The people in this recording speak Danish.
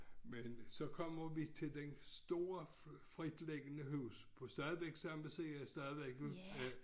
Men så kommer vi til det store fritlæggende hus på stadig samme side stadigvæk øh